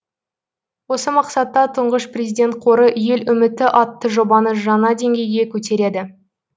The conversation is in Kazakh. осы мақсатта тұңғыш президент қоры ел үміті атты жобаны жаңа дейгеге көтереді